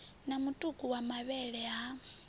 na mutuku wa mavhele ha